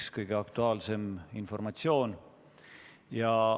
See on kõige aktuaalsem informatsioon.